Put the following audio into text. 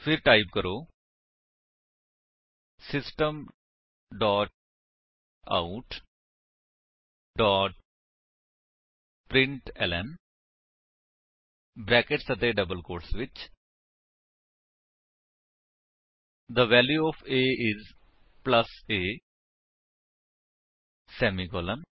ਫਿਰ ਟਾਈਪ ਕਰੋ system dot out dot println brackets ਅਤੇ ਡਬਲ ਕੋਟਸ ਵਿੱਚ the value O F a I S plus a semicolon